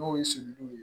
N'o ye sin diw ye